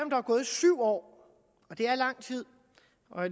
der er gået syv år og det er lang tid